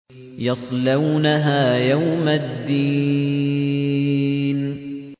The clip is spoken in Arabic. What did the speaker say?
يَصْلَوْنَهَا يَوْمَ الدِّينِ